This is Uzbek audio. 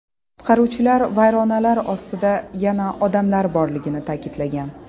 Qutqaruvchilar vayronalar ostida yana odamlar borligini ta’kidlagan.